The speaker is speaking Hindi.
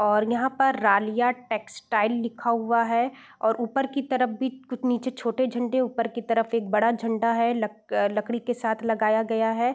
और यहाँ पर रालीआ टेक्सटाइल लिखा हुआ है और ऊपर के तरफ भी कुछ नीचे झंडे ऊपर की तरफ एक बड़ा झंडा है लकड़ी के साथ लगाया गया है।